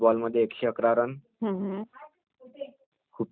हार्दिक पांडे होते म्हणजे त्यांनी खूप चांगली कप्तानगा केली